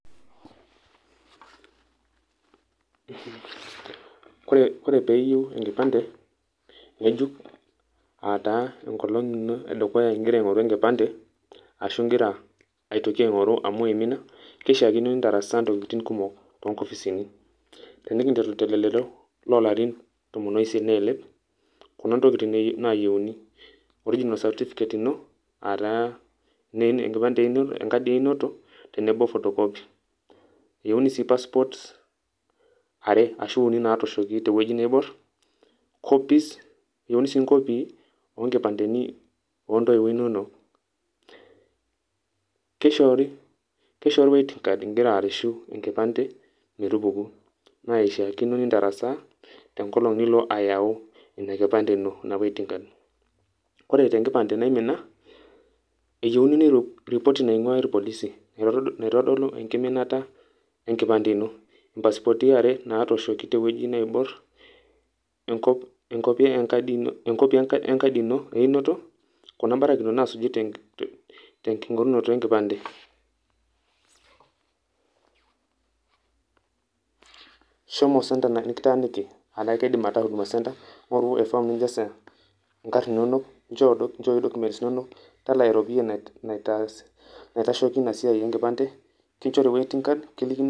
Ore pee iyieu enkipande ng`ejuk aa taa enkolong ino e dukuya igira aing`oru enkipande, ashu igira aitoki aing`oru amu imina keishiakino nintarasa ntokitin kumok too nkopisini. Tenikinteru te lelero oo larin tomon oisiet neilep, Kuna ntokitin nayieuni: original certificate ino aa taa enkadi e inoto tenebo photocopy. Eyieuni sii passport are ashu uni naatooshoki te wueji nebo. Copies Eyieuni sii nkopii teni oo ntoiwuo inonok. Keishoori, Keishoori waiting card igira arreshu enkipande metupuku. Naa ishiakino nintarasaa tenkolong nilo ayawu ina kipande ino ina waiting card. Ore te nkipande naimina eyieuni ripoti naing`uaa ilpolisi, naitodolu enkiminata e nkipande ino. Impasipoti are natooshoki te wueji neiborr, enkopi , enkopi e nkadi ino einoto. Kuna m`barakinot naasuji tenking`orunoto e nkipandem. Shomo center nikitaaniki aa kidim ataa huduma center ing`oru e form nijazie inkarn inonok njooi documents inonok talaa eropiyia naitaas naitaisheki ina siai e nkipande kinchori waiting card kilikini.